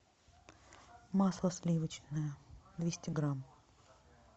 масло сливочное двести грамм